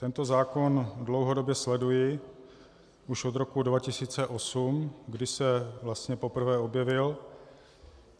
Tento zákon dlouhodobě sleduji už od roku 2008, kdy se vlastně poprvé objevil.